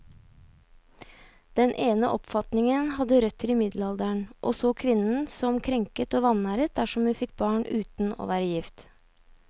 Den ene oppfatningen hadde røtter i middelalderen, og så kvinnen som krenket og vanæret dersom hun fikk barn uten å være gift.